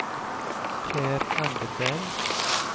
Per Anderberg